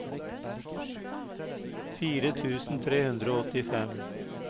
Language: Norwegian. fire tusen tre hundre og åttifem